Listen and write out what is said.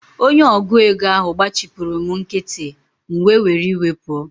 Onye ọgụ égo ahụ gbachipuru m nkịtị, m wee were iwe pụọ